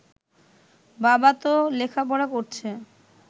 বাবা ত লেখাপড়া করছে